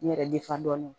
N yɛrɛ defandɔn